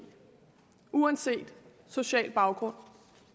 uanset social baggrund